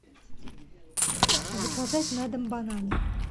заказать на дом бананы